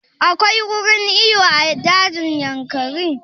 Akwai wurin iyo a dajin Yankari?